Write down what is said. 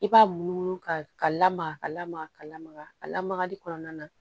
I b'a munumunu ka lamaga ka lamaga ka lamaga a lamagali kɔnɔna na